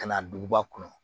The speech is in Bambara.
Ka na duguba kɔnɔ